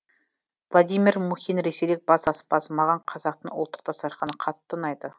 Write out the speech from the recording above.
владимир мухин ресейлік бас аспаз маған қазақтың ұлттық дастарханы қатты ұнайды